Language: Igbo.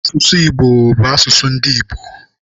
Asụsụ Igbo bụ asụsụ ndị Igbo.